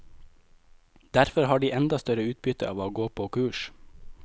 Derfor har de enda større utbytte av å gå på kurs.